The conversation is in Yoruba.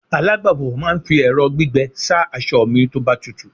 alagbafọ̀ ma n fi ẹrọ gbígbẹ sa asọ mi toba tutu